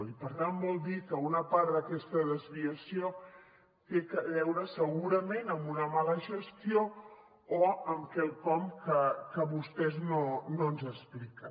i per tant vol dir que una part d’aquesta desviació té a veure segurament amb una mala gestió o amb quelcom que vostès no ens expliquen